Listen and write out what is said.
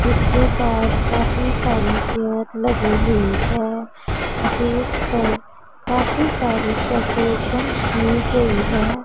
जिसके पास काफी सारी चोट लगी हुई है गेट पर काफी सारी डेकोरेशन की गई है।